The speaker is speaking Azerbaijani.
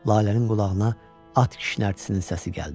Lalənin qulağına at kişnərtisinin səsi gəldi.